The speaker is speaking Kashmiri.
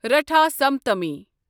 رٹھا سپتمی